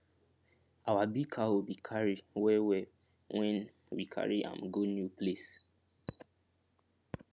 our big cow bin cary well well when we carry am go new place